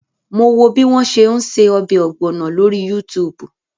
Mo wo bí wọ́n ṣe ń ṣe ọbẹ̀ ọ̀gbọ̀nọ̀ lórí Yútùùbù